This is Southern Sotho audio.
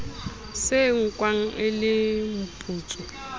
se nkwang e le mputso